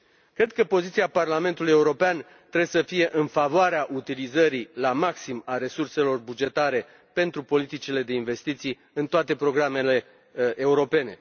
Cred că poziția Parlamentului European trebuie să fie în favoarea utilizării la maxim a resurselor bugetare pentru politicile de investiții în toate programele europene.